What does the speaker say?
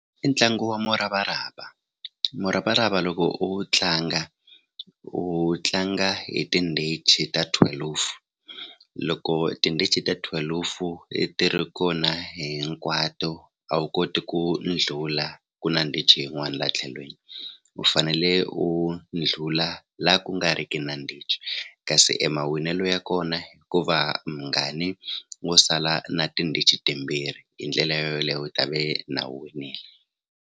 I ntlangu wa muravarava muravarava loko u wu tlanga u wu tlanga hi tindichi ta thwelufu loko tindichi ta thwelufu ti ri kona hinkwato a wu koti ku ndlhula ku na ndichi yin'wani la tlhelweni u fanele u ndlula la ku nga riki na ndichi kasi emawinelo ya kona ko va wo sala na tindichi timbirhi hi ndlela yo yoleyo u ta ve na u winile.